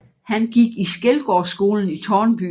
Han gik i Skelgårdsskolen i Tårnby